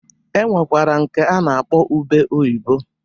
E nwekwara nke a na-akpọ ube oyibo.